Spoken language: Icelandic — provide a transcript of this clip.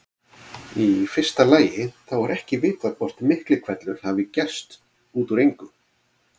Í fyrsta lagi þá er ekki vitað hvort Miklihvellur hafi gerst út úr engu.